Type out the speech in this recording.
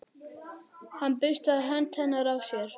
Hann burstaði hönd hennar af sér.